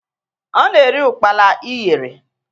Ọ na-eri ụkpala ịyere.